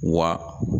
Wa